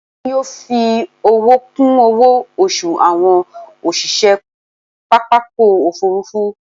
Wọn yóò fi owó kún owó oṣù àwọn òṣìṣẹ́ pápákọ̀ òfúrúfú